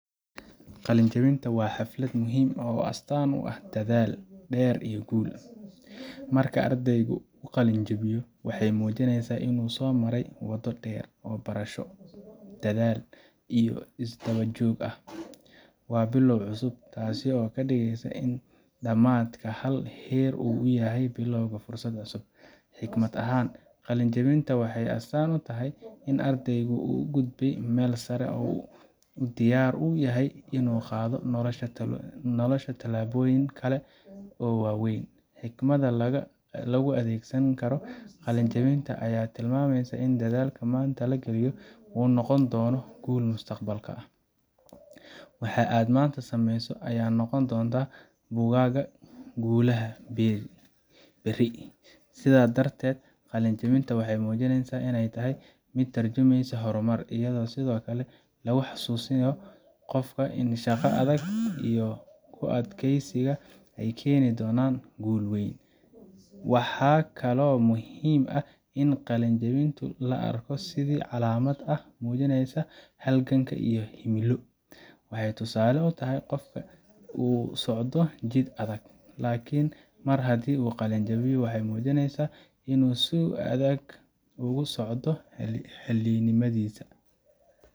Qalin jebinta waa xaflad muhiim ah oo astaan u ah dadaal dheer iyo guul. Marka ardaygu qalin jebiyo, waxay muujinaysaa in uu soo maray waddo dheer oo barasho, dadaal, iyo isdaba joog ah. Waa bilow cusub, taas oo ka dhigan in dhammaadka hal heer uu yahay bilowga fursad cusub. Xikmad ahaan, qalin jebinta waxay astaan u tahay in ardaygu uu gudbay meel sare oo uu diyaar u yahay inuu u qaado nolosha tallaabooyin kale oo waaweyn. Xikmadaha lagu adeegsan karo qalin jebinta ayaa tilmaamaya in dadaalka maanta la geliyo uu noqon doono guul mustaqbalka. Waxa aad maanta sameyso ayaa noqon doonta buuggaaga guulaha berri. Sidaas darteed, qalin jebinta waxay muujinaysaa inay tahay mid ka tarjumeysa horumar, iyadoo sidoo kale lagu xusuusiyo qofka in shaqada adag iyo ku adkaysiga ay keeni doonaan guul weyn. Waxaa kaloo muhiim ah in qalin jebinta la arko sidii calaamad ah oo muujinaysa halgan iyo himilo. Waxay tusaale u tahay qofka uu ku socdo jid adag, laakiin mar haddii uu qalin jebiyo, waxa uu muujinayaa in uu si adag ugu socdo himiladiisa